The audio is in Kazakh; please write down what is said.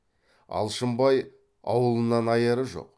алшынбай аулынан аяры жоқ